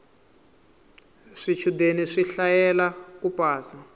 swichudeni swi hlayela ku pasa